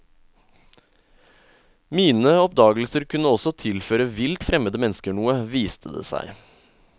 Mine oppdagelser kunne også tilføre vilt fremmede mennesker noe, viste det seg.